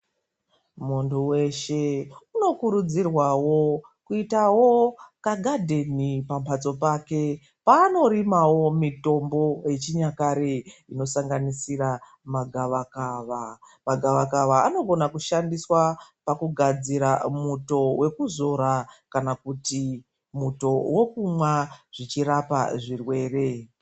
Muntu weshe unokurudzirwawo kuitawo kagadheni pamhatso pake paanorimawo mitombo yechinyakare inosanganisa magavakava. Magavakava anogona kushandiswa pakugadzira muto wekuzora kana kuti muto wokumwa zvichirapa zvirwere.